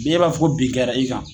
E b'a fɔ ko bin kɛra i kan.